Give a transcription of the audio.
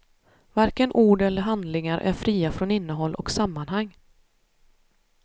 Varken ord eller handlingar är fria från innehåll och sammanhang.